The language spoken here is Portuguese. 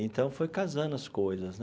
Então, foi casando as coisas né.